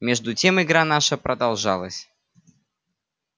между тем игра наша продолжалась